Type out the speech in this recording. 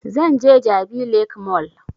Zan je jabi lake mall